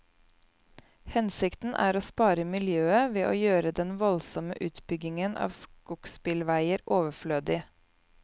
Hensikten er å spare miljøet ved å gjøre den voldsomme utbyggingen av skogsbilveier overflødig.